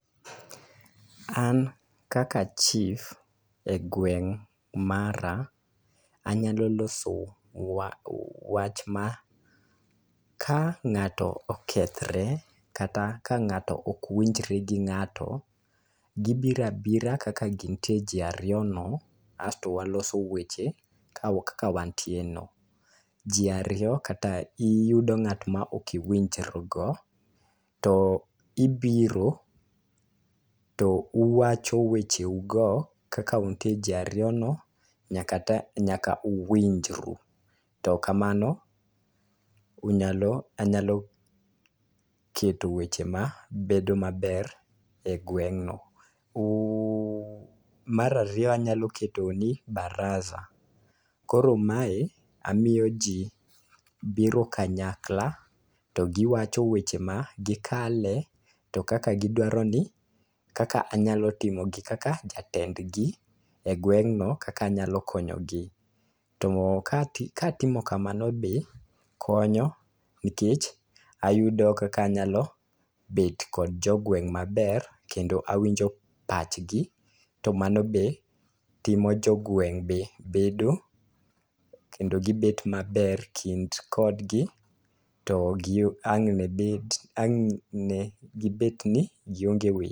An kaka chief e gweng' mara, anyalo loso wach ma, ka ng'ato okethre, kata ka ng'ato okwinjre gi ng'ato, gibiro abira kaka gintie ji ariyo no, asto waloso weche kaka wantie no. Ji ariyo, kata iyudo ng'at ma okiwinjri go, to ibiro, to uwacho weche u go kaka untie ji ariyo no, nyaka uwinjru. To kamano, unyalo, anyalo keto weche ma bedo maber e gweng'no. Mar ariyo, anyalo keto ni baraza. Koro mae amiyo ji biro kanyakla to giwacho weche ma gikale, to kaka gidwaro ni, kaka anyalo timo gi kaka jatend gi, e gweng'no kaka anyalo konyo gi. To ka atimo kamano be konyo nikech ayudo kaka anyalo bet kod jogweng' maber kendo awinjo pachgi, to mano be timo jogweng' be bedo, kendo gibet maber kind kodgi. To ang' ne gibet ni gionge weche.